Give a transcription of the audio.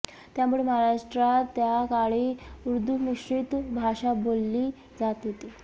त्यामुळे महाराष्ट्रात त्या काळी उर्दूमिश्रित भाषा बोलली जात होती